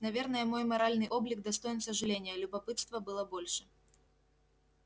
наверное мой моральный облик достоин сожаления любопытства было больше